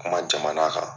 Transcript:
Kuma jamana kan